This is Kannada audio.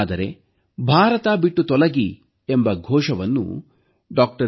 ಆದರೆ ಭಾರತ ಬಿಟ್ಟು ತೊಲಗಿ ಎಂಬ ಘೋಷಣೆಯನ್ನು ಡಾ